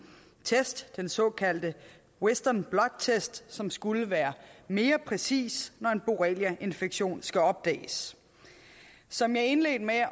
test den såkaldte western blot test som skulle være mere præcis når en borreliainfektion skal opdages som jeg indledte med at